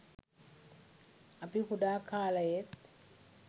අපි කුඩා කාලයේත්